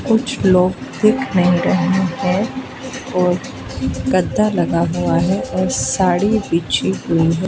कुछ लोग दिख नहीं रहे हैं और गद्दा लगा हुआ है और साड़ी बिछी हुई है।